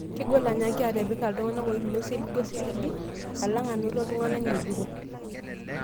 Kegol anyaaki atipika iltung'nak oiminie osiligi osiligi, alaong' anoto iltung'anak ng'ejuko